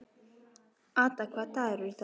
Ada, hvaða dagur er í dag?